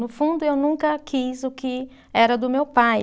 No fundo eu nunca quis o que era do meu pai.